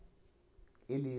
ele